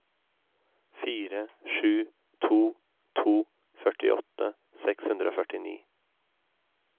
fire sju to to førtiåtte seks hundre og førtini